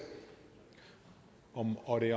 op i